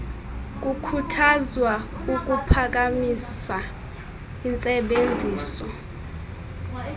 kukhuthazwa ukuphakamisa intsebenziso